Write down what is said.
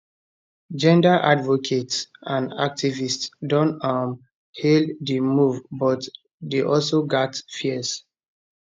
gender advocates and activists don um hail di move but dey also gat fears